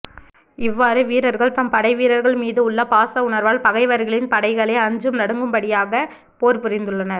இவ்வாறு வீரர்கள் தம் படைவீரர்கள் மீது உள்ள பாசவுணர்வால் பகைவரின் படைகளே அஞ்சி நடுங்கும்படியாகப் போர் புரிந்துள்ளனர்